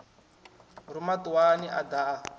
ruma ṱuwani a ḓa a